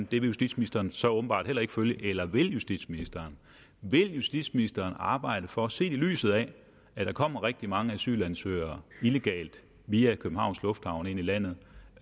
det vil justitsministeren så åbenbart heller ikke følge eller vil justitsministeren vil justitsministeren arbejde for set i lyset af at der kommer rigtig mange asylansøgere illegalt via københavns lufthavn ind i landet